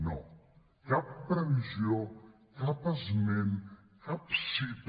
no cap previsió cap esment cap cita